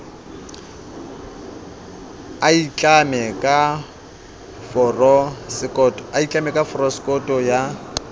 a itlamme ka forosekoto ya